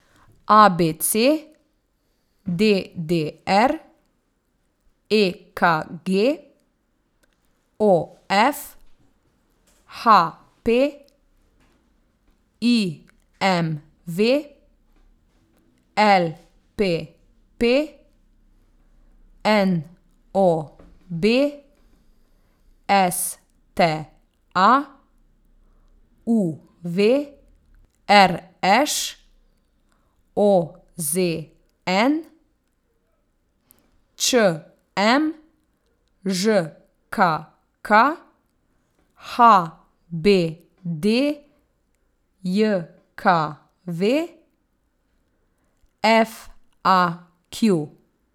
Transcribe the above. A B C; D D R; E K G; O F; H P; I M V; L P P; N O B; S T A; U V; R Š; O Z N; Č M; Ž K K; H B D J K V; F A Q.